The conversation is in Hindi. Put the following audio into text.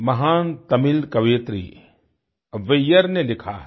महान तमिल कवियत्री अव्वैयार अव्वैयार ने लिखा है